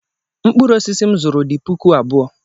Mkpụrụ osisi m zụrụ dị puku abụọ.